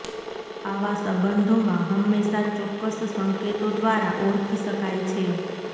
આવા સંબંધોમાં હંમેશા ચોક્કસ સંકેતો દ્વારા ઓળખી શકાય છે